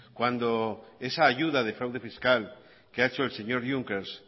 cuando esa ayuda de fraude fiscal que ha hecho el señor junckers